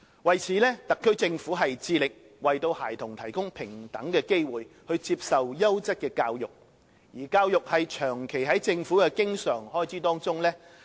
為此，特區政府致力為孩子提供平等的機會接受優質教育，而教育長期在政府的經常開支上佔首位。